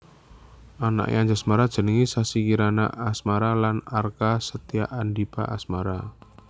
Anaké Anjasmara jenengé Sassi Kirana Asmara lan Arka Setyaandipa Asmara